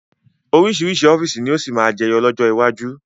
Oríṣiríṣi ọ́fíìsì ni ó sì máa jẹyọ lọ́jọ́ iwájú